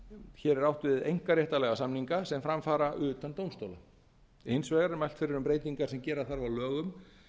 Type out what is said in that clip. hér er átt við einkaréttarlega samninga sem fram fara utan dómstóla hins vegar er mælt fyrir breytingar sem gera þarf á lögum